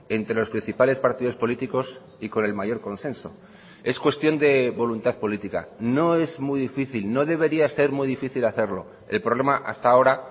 entre los principales partidos políticos y con el mayor consenso es cuestión de voluntad política no es muy difícil no debería ser muy difícil hacerlo el problema hasta ahora